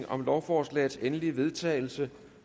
om lovforslagets endelige vedtagelse